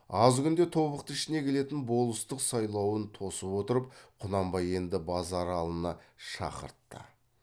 аз күнде тобықты ішіне келетін болыстық сайлауын тосып отырып құнанбай енді базаралыны шақыртты